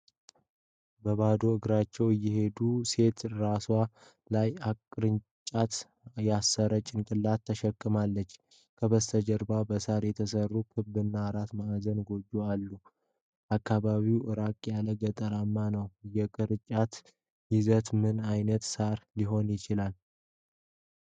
በባዶ እግሯ የሄደች ሴት ራስዋ ላይ ቅርጫት የሳር ጭነት ተሸክማለች። ከበስተጀርባ በሳር የተሰሩ ክብ እና አራት ማዕዘን ጎጆዎች አሉ። አካባቢው ራቅ ያለ ገጠር ነው። የቅርጫቱ ይዘት ምን ዓይነት ሳር ሊሆን ይችላል?